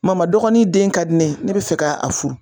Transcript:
Mama dɔgɔnin den ka di ne ye ne bɛ fɛ ka a furu